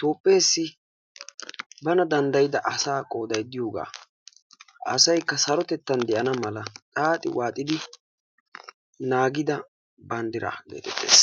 Toophpheessi bana danddayida asaa qooday diyogaa, asaykka sarotettan de'na mala xaaxi waaxidi naagida banddiraa geetettees.